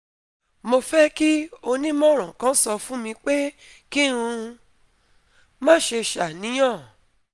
mo fẹ́ kí onímọ̀ràn kan sọ fún mi pé kí n má ṣe ṣàníyàn